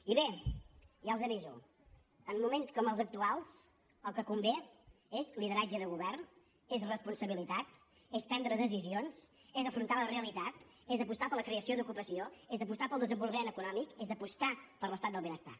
i bé ja els aviso en moments com els actuals el que convé és lideratge de govern és responsabilitat és prendre decisions és afrontar la realitat és apostar per la creació d’ocupació és apostar pel desenvolupament econòmic és apostar per l’estat del benestar